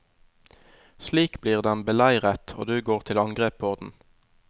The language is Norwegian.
Slik blir den beleiret, og du går til angrep på den.